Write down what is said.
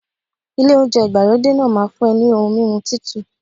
Ilé oúnjẹ ìgbàlódé náà máa fún ẹ ní ohun mímu Títù.